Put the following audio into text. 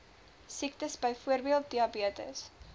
siektes byvoorbeeld diabetes